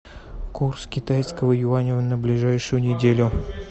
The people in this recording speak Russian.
курс китайского юаня на ближайшую неделю